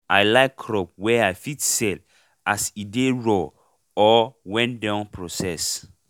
i like crop wey i fit sell as e dey raw or wen don process